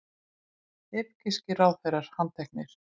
Egypskir ráðherrar handteknir